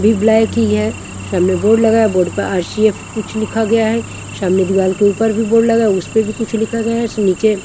भी ब्लैक ही है सामने बोर्ड लगाया बोर्ड पर आर_सी_एफ कुछ लिखा गया है सामने दीवार के ऊपर भी बोर्ड लगा है उस पे भी कुछ लिखा गया है उसमे नीचे--